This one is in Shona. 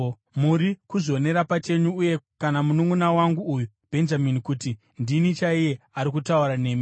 “Muri kuzvionera pachenyu, uye kana mununʼuna wangu uyu Bhenjamini, kuti ndini chaiye ari kutaura nemi.